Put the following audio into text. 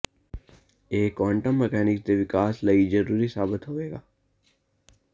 ਇਹ quantum mechanics ਦੇ ਵਿਕਾਸ ਲਈ ਜ਼ਰੂਰੀ ਸਾਬਤ ਹੋਵੇਗਾ